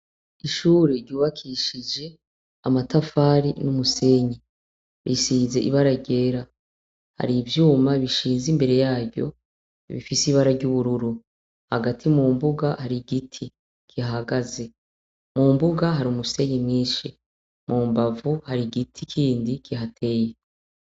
Ishure giwakishije amatafari n'umusenyi, rishize ibara ryera hari ivyuma bishize imbere yaryo bifise ibara ry'ubururu, hagati mu mbuga hari igiti gihagaze mu mbuga hari umusenyi mwinshi mu mbavu hari igiti kindi gihateye.